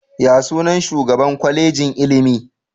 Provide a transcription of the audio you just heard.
Ya sunan shugaan Kwalejin ilimi?